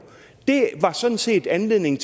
det var sådan set anledningen